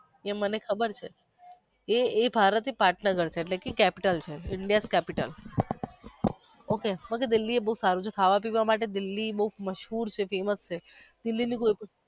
એ મને ખબર છે એ એક પાટનગર છે એટલે capital છે Indian capital ok દિલ્હી આ બધું ખાવા પીવા માટે મશહૂર છે famous છે. દિલ્હી ની કોઈ